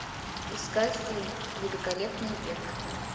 искать фильм великолепный век